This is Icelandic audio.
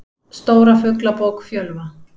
Stóra Fuglabók Fjölva.